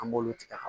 An b'olu tigɛ ka